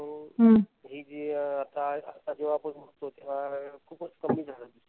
हि जी आत्ता जेव्हा बघतो. तेव्हा खूपच कमी झाड दिसतील.